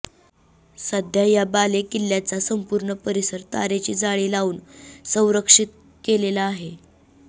सध्या या बालेकिल्ल्याचा संपूर्ण परिसर तारेची जाळी लावून संरक्षीत केलेला आहे